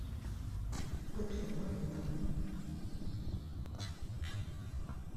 пепси два литра